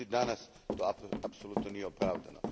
Međutim danas to apsolutno nije opravdano.